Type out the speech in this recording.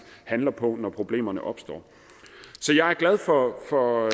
handler på det når problemerne opstår så jeg er glad for for